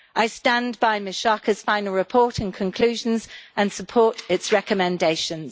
I stand by Ms Schaake's final report and conclusions and support its recommendations.